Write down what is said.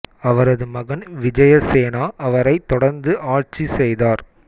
அவரது மகன் விஜய சேனா அவரைத் தொடர்ந்து ஆட்சி செய்தாா்